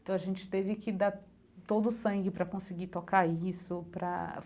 Então a gente teve que dar todo o sangue para conseguir tocar isso para.